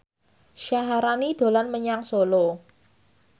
Syaharani dolan menyang Solo